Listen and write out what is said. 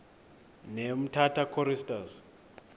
ne umtata choristers